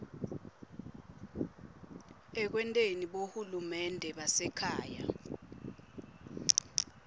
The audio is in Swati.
ekwenteni bohulumende basekhaya